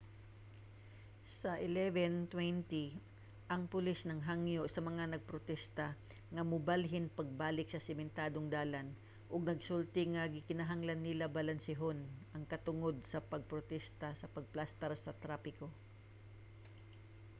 sa 11:20 ang pulis naghangyo sa mga nagprotesta nga mobalhin pagbalik sa sementadong dalan ug nagsulti nga gikinahanglan nila balansehon ang katungod sa pagprotesta sa pagplastar sa trapiko